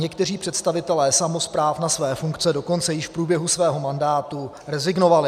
Někteří představitelé samospráv na své funkce dokonce již v průběhu svého mandátu rezignovali.